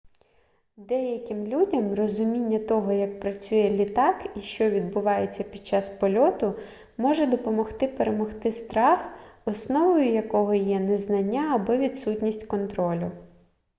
деяким людям розуміння того як працює літак і що відбувається під час польоту може допомогти перемогти страх основою якого є незнання або відсутність контролю